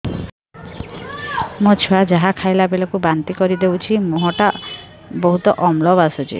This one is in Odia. ମୋ ଛୁଆ ଯାହା ଖାଇଲା ବେଳକୁ ବାନ୍ତି କରିଦଉଛି ମୁହଁ ଟା ବହୁତ ଅମ୍ଳ ବାସୁଛି